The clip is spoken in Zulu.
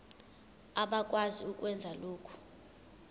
abakwazi ukwenza lokhu